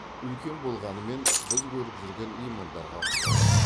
үлкен болғанымен біз көріп жүрген лимондарға ұқсайды